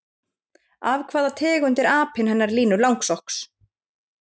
Af hvaða tegund er apinn hennar Línu langsokks?